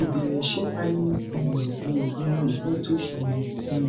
ìbéèrè ṣé a lè um lo oogun ifetosomo um